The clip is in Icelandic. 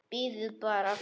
Bíðið bara.